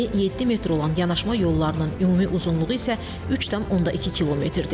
Eni 7 metr olan yanaşma yollarının ümumi uzunluğu isə 3,2 kmdir.